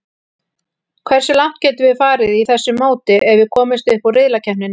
Hversu langt getum við farið í þessu móti ef við komumst upp úr riðlakeppninni?